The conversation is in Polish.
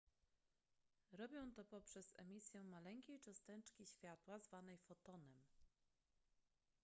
robią to poprzez emisję maleńkiej cząsteczki światła zwanej fotonem